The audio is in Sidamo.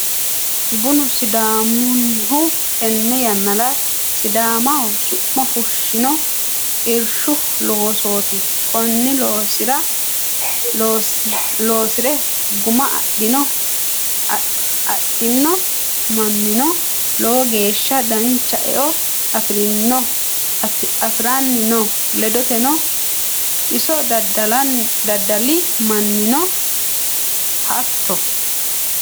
Bunu sidaamunihu tene yannara sidaamaho su'ma fushino irshu loosoti kone loosire guma adhani no mannino lowo geeshsha dancha eo affiranni no ledoteno, iso daddali mannino hatto.